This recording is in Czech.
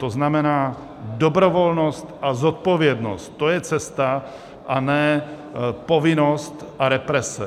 To znamená dobrovolnost a zodpovědnost, to je cesta, a ne povinnost a represe.